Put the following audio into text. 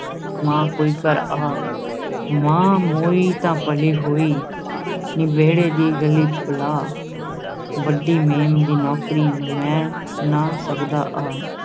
ਮਾਂ ਕੋਈ ਘਰ ਆ, ਮਾਂ ਮੋਈ ਤਾਂ ਭਲੀ ਹੋਈ, ਨੀ ਵਿਹੜੇ ਦੀ ਗਈ ਬਲਾ, ਵੱਡੀ ਮੇਮ ਦੀ ਨੌਕਰੀ, ਮੈਂ ਨਾ ਸਕਦਾ ਆ।